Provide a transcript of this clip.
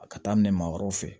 A ka daminɛ maa wɛrɛw fɛ